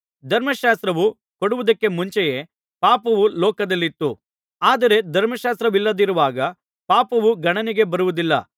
ಧರ್ಮಶಾಸ್ತ್ರವು ಕೊಡುವುದಕ್ಕೆ ಮುಂಚೆಯೇ ಪಾಪವು ಲೋಕದಲ್ಲಿತ್ತು ಆದರೆ ಧರ್ಮಶಾಸ್ತ್ರವಿಲ್ಲದಿರುವಾಗ ಪಾಪವು ಗಣನೆಗೆ ಬರುವುದಿಲ್ಲ